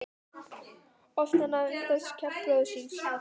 Oft hafði hann undrast kjark bróður síns.